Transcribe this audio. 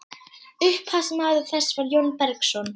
Upphafsmaður þess var Jón Bergsson.